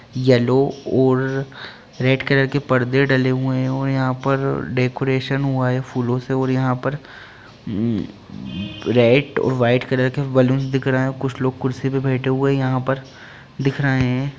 Yellow और red colour के पर्दे डले हुए है यहाँ पर डेकोरेशन हुआ है फूलो से और यहाँ पर रेड वाइट कलर बैलून दिख रहे है और कुछ लोग कुर्सी पर बैठे हुए हैं यहाँ पर दिख रहे हैं।